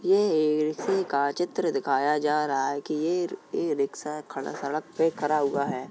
ये ए -रिक्शे का चित्र दिखाया जा रहा है कि येर ए -रिक्शा खड़ा सड़क पे खड़ा हुआ है।